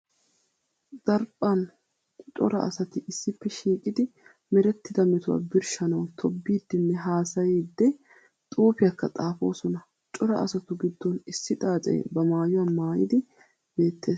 Daraphan cora asatti issippe shiiqiddi merettida metuwaa birshshanawu tobbiiddenne haasayidde xuufiyakka xaafosonna. Cora asattu giddon issi xaace ba maayuwa maayiddi beetees.